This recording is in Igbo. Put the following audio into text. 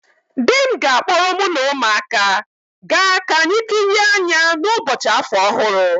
Di m ga-akpọrọ mu na umuaka ga ka anyi kịrịe anya n'ụbọchị afọ ọhụrụ